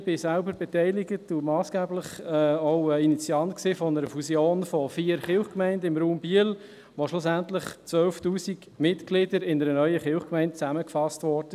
Ich war selbst beteiligt und auch ein massgeblicher Initiant einer Fusion von vier Kirchgemeinden im Raum Biel, wo schlussendlich 12 000 Mitglieder in einer neuen Kirchgemeinde zusammengefasst wurden.